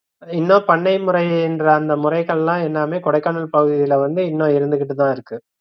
இன்னும் பண்ணை முறைன்ற அந்த முறைகள்லாம் எல்லாமே கொடைக்கானல் பகுதில வந்து இன்னும் இருந்துகிட்டுதா இருக்கு